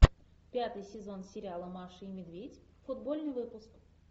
пятый сезон сериала маша и медведь футбольный выпуск